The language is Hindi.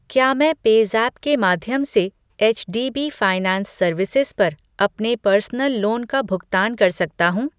क्या मैं पेज़ैप के माध्यम से एचडीबी फ़ाइनैंस सर्विसेज़ पर अपने पर्सनल लोन का भुगतान कर सकता हूँ?